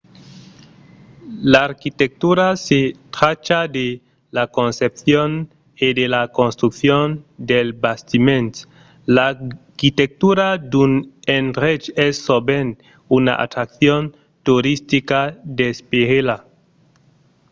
l’arquitectura se tracha de la concepcion e de la construccion dels bastiments. l’arquitectura d’un endrech es sovent una atraccion toristica d'esperela